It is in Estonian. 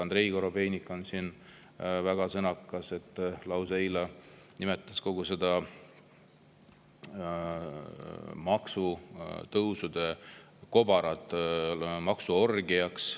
Andrei Korobeinik on siin väga sõnakas, eile nimetas kogu seda maksutõusude kobarat lausa maksuorgiaks.